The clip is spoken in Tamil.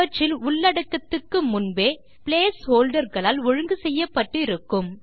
அவற்றில் உள்ளடக்கத்துக்கு முன்பே பிளேஸ் ஹோல்டர் களால் ஒழுங்கு செய்யப்பட்டு இருக்கும்